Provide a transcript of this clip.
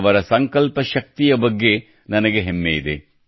ಅವರ ಸಂಕಲ್ಪ ಶಕ್ತಿಯ ಬಗ್ಗೆ ನನಗೆ ಹೆಮ್ಮೆ ಇದೆ